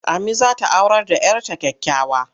Ammi za ta aurar da 'yar ta kyakkyawa.